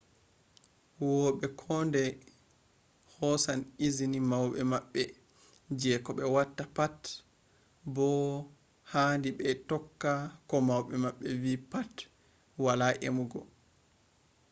huwoɓe kuodai hosan izini mauɓe maɓɓe je ko ɓe watta pat bo haadi ɓe tokka ko mauɓe maɓɓe vi pat wala emugo